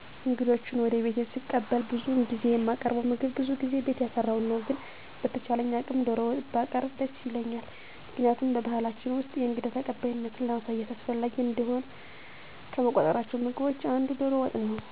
እንግዶችን ወደ ቤቴ ሰቀበል ብዙውን ጊዜ የማቀርበዉ ምግብ በዙ ጊዜ ቤት ያፈራዉን ነዉ። ግን በተቻለኝ አቅም ዶሮ ወጥ ባቀረቡ ደስ ይለኛል ምክንያቱም በባሕላችን ውስጥ የእንግዳ ተቀባይነትን ለማሳየት አስፈላጊ እንደሆነ ከምቆጥሯቸው ምግቦች አንዱ ዶሮ ወጥ ነወ